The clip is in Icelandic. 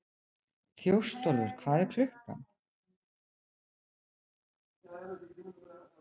Þjóstólfur, hvað er klukkan?